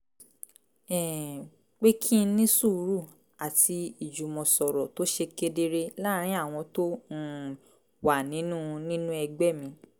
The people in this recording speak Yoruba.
um pé kí n ní sùúrù àti ìjùmọ̀sọ̀rọ̀ tó ṣe kedere láàárín àwọn tó um wà nínú nínú ẹgbẹ́ mi